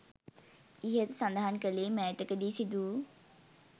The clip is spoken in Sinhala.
ඉහත සඳහන් කළේ මෑතක දී සිදු වූ